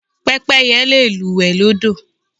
Pẹ́pẹ́yẹ le lúùwẹ́ lọ́dọ̀.